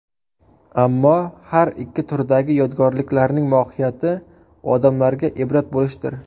Ammo har ikki turdagi yodgorliklarning mohiyati odamlarga ibrat bo‘lishdir.